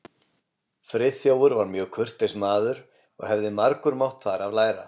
Friðþjófur var mjög kurteis maður, og hefði margur mátt þar af læra.